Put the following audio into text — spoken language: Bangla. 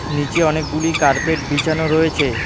নীচে অনেকগুলি কার্পেট বিছানো রয়েছে।